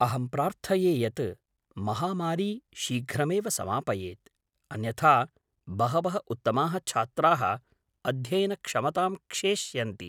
अहं प्रार्थये यत् महामारी शीघ्रमेव समापयेत्, अन्यथा बहवः उत्तमाः छात्राः अध्ययनक्षमतां क्षेष्यन्ति।